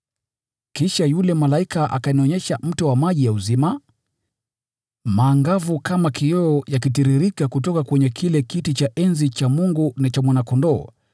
Kisha yule malaika akanionyesha mto wa maji ya uzima, maangavu kama kioo yakitiririka kutoka kwenye kile kiti cha enzi cha Mungu na cha Mwana-Kondoo,